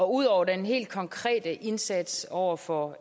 ud over den helt konkrete indsats over for